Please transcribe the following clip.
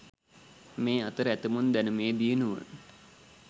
මේඅතර ඇතමුන් දැනුමේ දියුණුව